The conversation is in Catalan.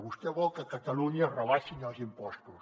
vostè vol que a catalunya es rebaixin els impostos